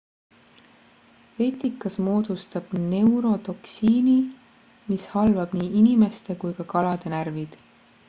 vetikas moodustab neurotoksiini mis halvab nii inimeste kui ka kalade närvid